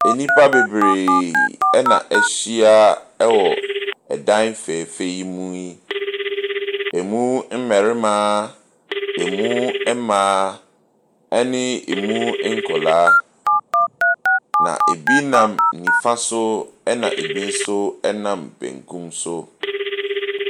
Nnipa bebree na ahyia wɔ dan fɛɛfɛ yi mu yi, ɛmu mmarima, ɛmu mmaa ne ɛmu nkwadaa. Na bi nam nifa so na bi nso nam bankum so.